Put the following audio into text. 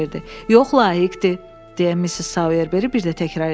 "Yox, layiqdir", deyə Missis Soyerberi bir də təkrar etdi.